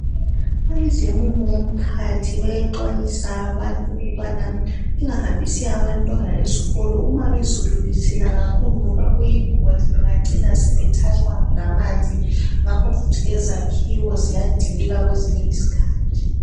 Abezomumo womkhathi bayaxwayisa abantu ukubana lingahambisi abantwana esikolo, uma izulu lisina kakhulu, ngoba kuyingozi. Bangacina sebethathwa ngamanzi. Ngakho futhi lezakhiwo ziyadilika kwezinye izikhathi.